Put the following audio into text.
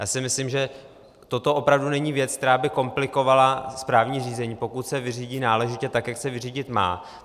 Já si myslím, že toto opravdu není věc, která by komplikovala správní řízení, pokud se vyřídí náležitě, tak jak se vyřídit má.